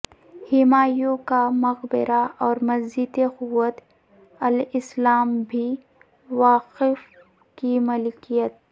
ہمایوں کا مقبرہ اور مسجد قوت الاسلام بھی وقف کی ملکیت